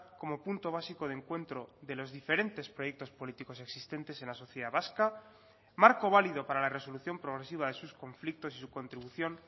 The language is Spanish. como punto básico de encuentro de los diferentes proyectos políticos existentes en la sociedad vasca marco válido para la resolución progresiva de sus conflictos y su contribución